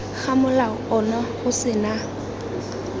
ga molao ono o sena